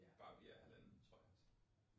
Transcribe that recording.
Barbie er halvanden, tror jeg vist